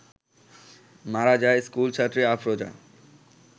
মারা যায় স্কুলছাত্রী আফরোজা